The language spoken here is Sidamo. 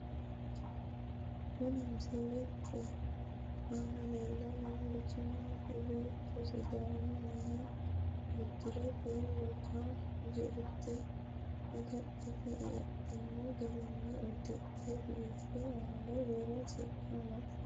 Kuni misilete aana leellanni noorichi mitte beetto sidaamunniha uddirate woga jirte agadhino garinni uddidhe biife , angaserano siqqo amaxxite no.